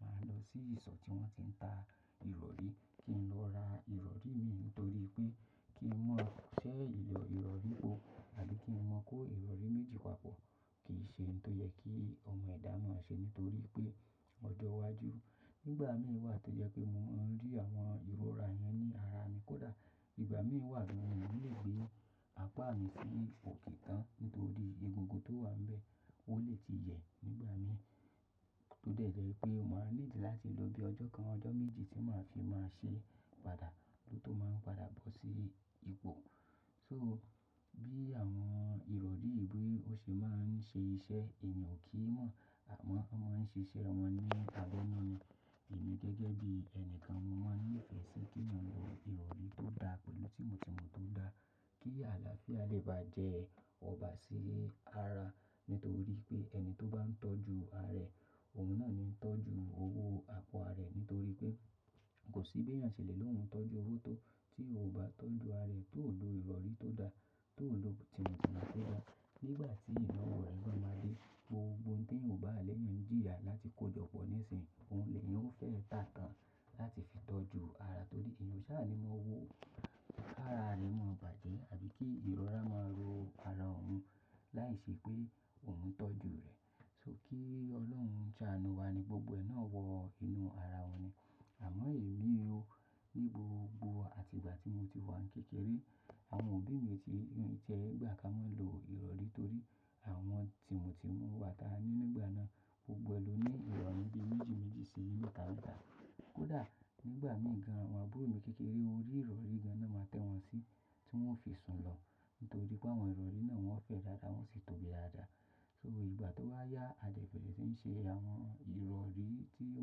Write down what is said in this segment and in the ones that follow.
màá lọ sí ìsọ̀ tí wọ́n ti ń ta ìrọ̀rí kí n lọ ra ìrọ̀rí mìíràn nítorí pé kí n mọ̀ ṣẹ́ ìrọ̀rí po àbí kí n mọ̀ kó ìrọ̀rí méjì papọ̀ kì í ṣe n tó yẹ kí ọmọ ẹ̀dá mọ̀ọ́ ṣe nítorí pé ọjọ́ iwájú nígbà mí wà tó yẹ pé mo máa ń rí àwọn ìrora yẹn ní ara mi kódà ìgbà mí wà bí mo kò lè gbé apá mi sí ipò kíì tán nítorí egungun tó wà ńbẹ́ ó lè ti yẹ̀ nígbà mí. Ó dẹ̀ jẹ́ pé màá ní ìdí láti lo bí ọjọ́ kan ọjọ́ méjì tí màá fi máa ṣe padà ló tó máa ń padà bọ́ sí ipò. So bí àwọn ìrọ̀rí yìí bí ó ṣe máa ń ṣe iṣẹ́ èèyàn kì í mọ̀ àmọ́ wọ́n máa ń ṣiṣẹ́ wọn nípa lẹ́nu ni. Èmi gẹ́gẹ́ bí ẹni kan mo máa ń ní ìfẹ́ sí kí n lo ìrọ̀rí tó dá pẹ̀lú tìmù tìmù tó dá kí àlàáfíà lè bá jẹ ọba sí ara nítorí pé ẹni tó bá ń tọ́jú ara rẹ̀ òun náà ni tọ́jú owó apá rẹ̀ nítorí pé kò sí bí èèyàn ṣe lè lo òun tọ́jú owó tó tí ò bá tọ́jú ara rẹ̀ tó ò lo ìrọ̀rí tó dá tó ò lo tìmù tìmù tó dá. Nígbà tí iná òòrùn yóò máa dé, gbogbo ohun tí èèyàn ò bá lẹ́yàn jíya láti kó jọpọ̀ ní ìsìn, òun lè yẹn ó fẹ́ tà tán láti fi tọ́jú ara torí èèyàn ó jẹ́ ànimọ́ owó. Ara rẹ̀ mọ̀ọ́ bàjẹ́ àbí kí ìrora máa ró ara òun láìṣẹ́ pé òun ń tọ́jú rẹ̀. So kí Ọlọ́run ṣàánú wa ni gbogbo ẹ náà wọ inú ara wa ni. Àmọ́ èmi o, ní gbogbo àtìgbà tí mo ti wà kékeré, àwọn òbí mi ò tí ì jẹ́ ìgbà kí wọ́n lo ìrọ̀rí torí àwọn tìmù tìmù wa ta nígbà náà gbogbo ẹni ló ní ìrọ̀rí bí méjì méjì sí mẹ́ta mẹ́ta. Kódà nígbà mí gan àwọn àbúrò mi kékeré orí ìrọ̀rí gan náà máa tẹ́ wọn sí tí wọ́n ó fi sùn lọ nítorí pé àwọn ìrọ̀rí náà wọ́n fẹ́ dáadáa wọ́n sì tóbi dáadáa. So ìgbà tó bá yá adigbelẹ ti ń ṣe àwọn ìrọ̀rí tí ó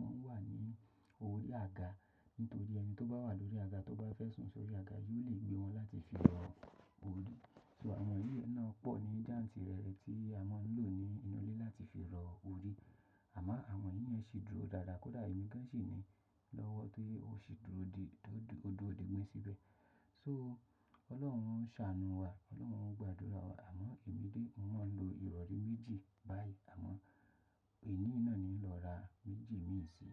máa ń wà ní orí àga nítorí ẹni tó bá wà lórí àga tó bá fẹ́ sùn sórí àga yóò lè gbé wọn láti fi rọ orí. So àwọn eré náà pọ̀ ní jáǹtì rẹ̀ rẹ̀ tí a máa ń lò ní inú ilé láti fi rọ orí. Àmọ́ àwọn yínyẹn ṣe dúró dáadáa kódà èmi gán ṣe ní lọ́wọ́ tó ṣe dúró dé ọdún òbí mi síbẹ̀. So Ọlọ́run ṣàánú wa, Ọlọ́run gbàdúrà wa. Àmọ́ èmi dé mo máa ń lo ìrọ̀rí méjì báyìí àmọ́ èní náà ni lọ ra méjì mìíràn sí.